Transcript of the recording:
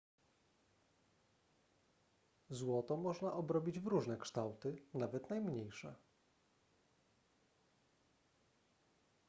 złoto można obrobić w różne kształty nawet najmniejsze